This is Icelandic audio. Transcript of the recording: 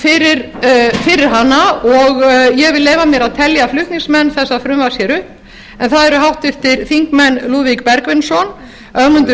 fyrir hana og ég vil leyfa mér að telja flutningsmenn þessa frumvarps hér upp en það eru háttvirtir þingmenn lúðvík bergvinsson ögmundur